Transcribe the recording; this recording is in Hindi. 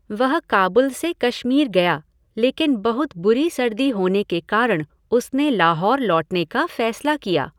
वह काबुल से कश्मीर गया लेकिन बहुत बुरी सर्दी होने के कारण उसने लाहौर लौटने का फैसला किया।